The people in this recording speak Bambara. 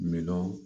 Miliyɔn